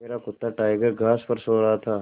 मेरा कुत्ता टाइगर घास पर सो रहा था